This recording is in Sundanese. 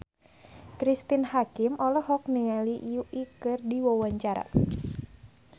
Cristine Hakim olohok ningali Yui keur diwawancara